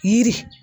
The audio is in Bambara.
Yiri